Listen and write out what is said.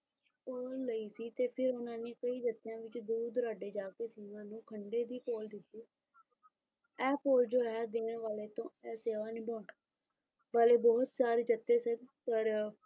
ਪੂਰਨ ਲਈ ਸੀ ਤੇ ਫਿਰ ਉਹਨਾਂ ਨੇ ਕਿ ਹਿੱਸਿਆਂ ਵਿੱਚ ਦੂਰ ਦੁਰਾਡੇ ਜਾਕੇ ਸਿੱਖਾਂ ਨੂੰ ਖੰਡੇ ਦੀ ਪਹੁਲ ਦਿੱਤੀ ਐ ਪਹੁਲ ਜੋ ਹੈ ਦੀਨੇ ਵਾਲੇ ਤੋਂ ਇਹ ਸੇਵਾ ਨਿਭਾਉਣ ਵਾਲੇ ਬਹੁਤ ਸਾਰੇ ਜੱਥੇ ਸਨ ਪਰ